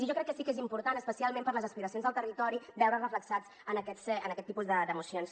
i jo crec que sí que és important especialment per les aspiracions del territori veure’s reflectits en aquest tipus de mocions